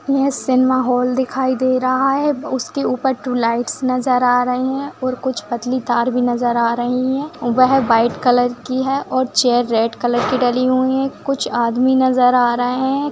ये cinema hall दिखाई दे रहा है उसके ऊपर टू लाईटस नजर आ रहे है और कुछ पतली तर भी नजर आ रही है वहाँ व्हाइट कलर की है और चैर रेड कलर की डाली हुई है कुछ आदमी नजर आ रहे है।